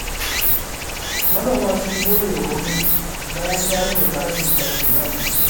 Manoma sun godewa gwamnati, bayan da ta rage farashin takin zamani.